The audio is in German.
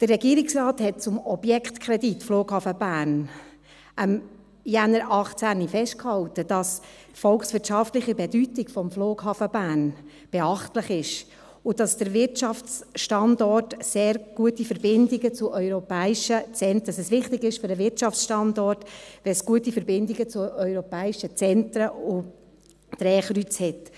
Der Regierungsrat hat zum Objektkredit Flughafen Bern im Januar 2018 festgehalten, dass die volkswirtschaftliche Bedeutung des Flughafens Bern beachtlich sei, dass der Wirtschaftsstandort sehr gute Verbindungen zu europäischen Zentren hat, dass es wichtig sei für den Wirtschaftsstandort, wenn es gute Verbindungen zu europäischen Zentren und Drehkreuzen gebe.